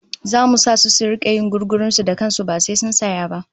Zamu sa su da su rika yin gugurun su da kan su ba sai sun saya ba